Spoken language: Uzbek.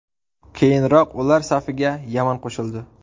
Keyinroq ular safiga Yaman qo‘shildi .